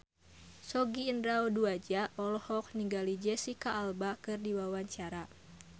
Sogi Indra Duaja olohok ningali Jesicca Alba keur diwawancara